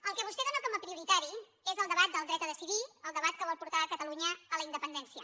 el que vostè dóna com a prioritari és el debat del dret a decidir el debat que vol portar catalunya a la independència